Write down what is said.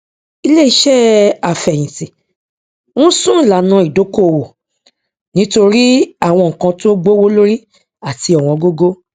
iléiṣẹ àfẹyìntì n sún ìlànà ìdókòwò nítorí àwọn nnkan tó gbówó lórí àti ọwọngógó